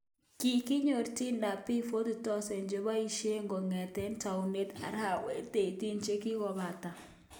Kikonyor Tinder piik 40,000 chepoishei kongetei taunet arawek 18 chekikopata